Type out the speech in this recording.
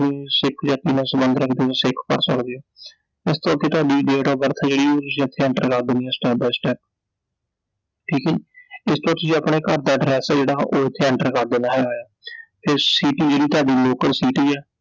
ਉਸ ਤੋਂ ਅਗੇ ਤੁਹਾਡੀ Date of birth ਆ ਜਿਹੜੀ ਉਹ ਤੁਸੀਂ ਆਪੇ enter ਕਰ ਦੇਣੀ ਐ step by step ਠੀਕ ਐ ਜੀI ਇਸ ਤੋਂ ਬਾਅਦ ਤੁਸੀਂ ਆਪਣੇ ਘਰ ਦਾ address ਆ ਜਿਹੜਾ ਉਹ ਓਥੇ enter ਕਰ ਦੇਣਾ ਹੈਗਾ ਏ ਆ, ਤੇ city ਜਿਹੜੀ ਤੁਹਾਡੀ local city ਐ I